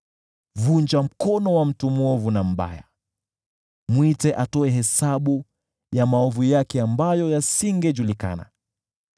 Vunja mkono wa mtu mwovu na mbaya, mwite atoe hesabu ya maovu yake ambayo yasingejulikana.